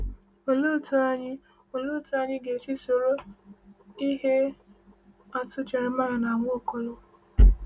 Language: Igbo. Olee otú anyị Olee otú anyị ga-esi soro ihe atụ Jeremaịa na Nwaokolo?